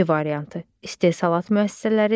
B variantı: istehsalat müəssisələri,